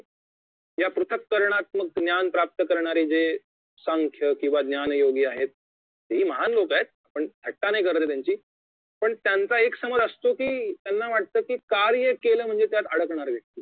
या पृथकरणात्मक ज्ञान प्राप्त करणारे जे सांख्य किंवा ज्ञान योगी आहेत ती महान लोक आहेत पण थट्टा नाही करत त्यांची पण त्यांचा एक समज असतो कि त्यांना वाटत की कार्य केलं म्हणजे त्यात अडकणार